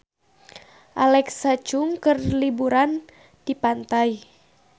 Alexa Chung keur liburan di pantai